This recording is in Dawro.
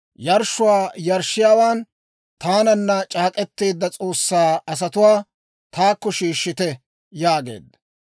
«Yarshshuwaa yarshshiyaawaan, taananna c'aak'k'eteedda S'oossaa asatuwaa, taakko shiishshite» yaageedda.